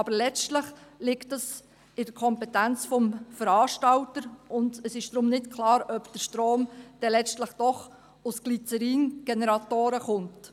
Aber letztlich liegt das in der Kompetenz des Veranstalters, und es ist deshalb nicht klar, ob der Strom dann letztlich doch aus Glyzerin-Generatoren kommt.